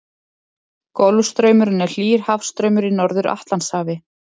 Golfstraumurinn er hlýr hafstraumur í Norður-Atlantshafi.